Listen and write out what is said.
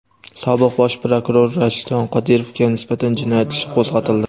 Sobiq bosh prokuror Rashidjon Qodirovga nisbatan jinoyat ishi qo‘zg‘atildi.